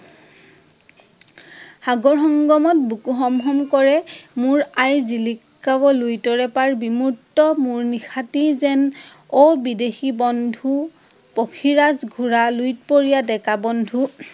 সাগৰ সংগমত, বুকু হম হম কৰে, মোৰ আইৰ জিলিকাৱ লুইতৰে পাৰ, বিমুৰ্ত্ত মোৰ নিশাতি যেন, অ বিদেশী বন্ধু, পক্ষীৰাজ ঘোৰা, লঁইতপৰিয়া ডেকা, বন্ধু